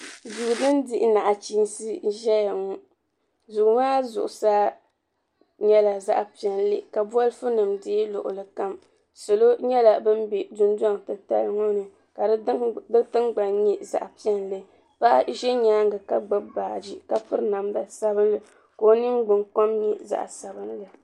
Duu din dihi naɣichiinsi ʒeya ŋɔ duu maa zuɣusaa nyɛla zaɣ'piɛlli ka bɔlifunima deei luɣili kam salo nyɛla bin be dundɔŋ'titali ŋɔ ni ka di tingbani nyɛ zaɣ'piɛlli paɣa ʒe nyaaŋa ka gbubi baaji ka piri namda sabinli ka o ningbunkom nyɛ zaɣ'sabinli.